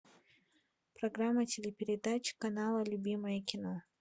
программа телепередач канала любимое кино